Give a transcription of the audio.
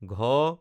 ঘ